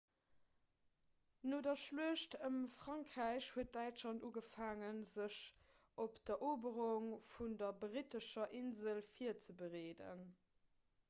no der schluecht ëm frankräich huet däitschland ugefaangen sech op d'eroberung vun der brittescher insel virzebereeden